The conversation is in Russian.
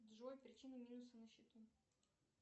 джой причины минуса на счету